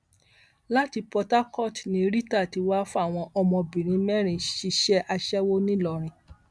láti port harcourt ni rita ti wáá fáwọn ọmọbìnrin mẹrin ṣíṣe aṣẹwó ńìlọrin